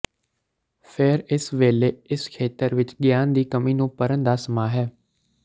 ਫੇਰ ਇਸ ਵੇਲੇ ਇਸ ਖੇਤਰ ਵਿੱਚ ਗਿਆਨ ਦੀ ਕਮੀ ਨੂੰ ਭਰਨ ਦਾ ਸਮਾਂ ਹੈ